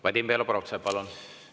Vadim Belobrovtsev, palun!